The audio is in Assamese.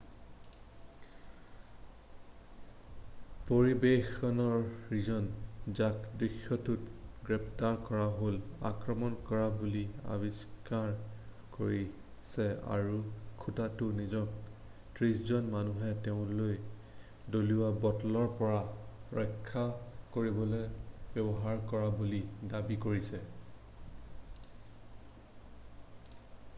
পৰিৱেশনকাৰীজন যাক দৃশ্যপটত গ্ৰেপ্তাৰ কৰা হ'ল আক্ৰমণ কৰা বুলি অস্বীকাৰ কৰিছে আৰু খুটাটো নিজকে ত্ৰিশজন মানুহে তেওঁলৈ দলিওৱা বটলৰ পৰা ৰক্ষা কৰিবলৈ ব্যৱহাৰ কৰা বুলি দাবী কৰিছে